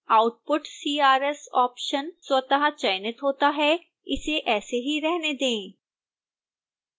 output crs option स्वतः चयनित होता है इसे ऐसे ही रहने दें